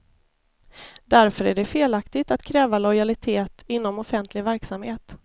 Därför är det felaktigt att kräva lojalitet inom offentlig verksamhet.